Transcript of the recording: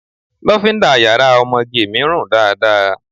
Lofinda yàrá ọmọge mi run dáadáa.